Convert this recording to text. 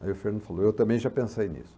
Aí o Fernando falou, eu também já pensei nisso.